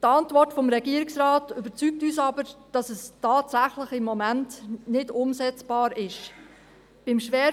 Die Antwort des Regierungsrates, wonach es tatsächlich im Moment nicht umsetzbar ist, überzeugt uns aber.